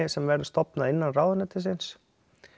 sem væri stofnað innan ráðuneytisins